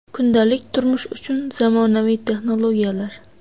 Kundalik turmush uchun zamonaviy texnologiyalar.